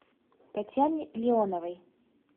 татьяне леоновой